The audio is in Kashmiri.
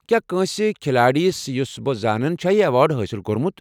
کیٚا کٲنٛسہِ كھلٲڑۍ یُس بہٕ زانن چُھ چھا یہ ایوارڈ حٲصل کوٚرمُت؟